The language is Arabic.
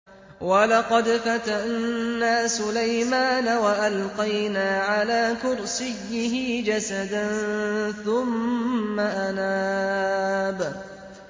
وَلَقَدْ فَتَنَّا سُلَيْمَانَ وَأَلْقَيْنَا عَلَىٰ كُرْسِيِّهِ جَسَدًا ثُمَّ أَنَابَ